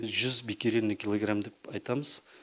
жүз биккерельный килограмм деп айтамыз